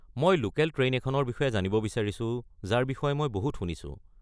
মই local train এখনৰ বিষয়ে জানিব বিছাৰিছো যাৰ বিষয়ে মই বহুত শুনিছোঁ।